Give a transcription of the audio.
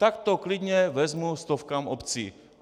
Tak to klidně vezmu stovkám obcí.